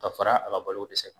Ka fara a ka balokodɛsɛ kan.